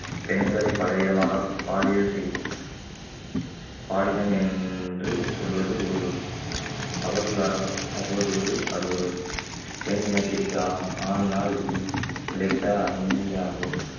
பெண்களை பலவிதமாக பாலியல் செய்~ பாலினம் என்று சொல்வது ஒரு அவதூறாக அவதூறு அது ஒரு பெண் இனத்திற்கு ஆணினால் கிடைத்த ஆகும்